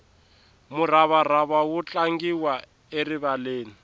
muravarava wu tlangiwa erivaleni